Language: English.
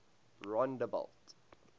rondebult